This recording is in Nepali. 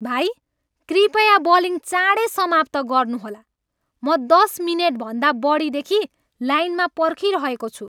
भाइ, कृपया बिलिङ चाँडै समाप्त गर्नुहोला! म दस मिनेटभन्दा बढीदेखि लाइनमा पर्खिरहेको छु।